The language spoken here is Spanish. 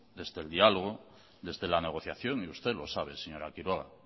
desde el diálogo desde la negociación y usted lo sabe señora quiroga